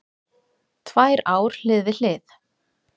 Tvær ár hlið við hlið